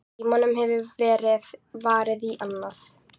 Tímanum hefur verið varið í annað.